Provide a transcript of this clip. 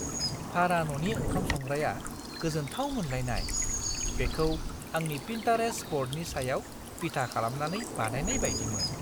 भारा न'नि ओंखाम संग्राया गोजोनथाव मोनलायनाय - बेखौ आंनि पिन्टारेस्ट ब'र्डनि सायाव बिथा खालामनानै बानायनाय बायदिमोन! "